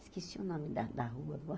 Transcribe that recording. Esqueci o nome da da rua.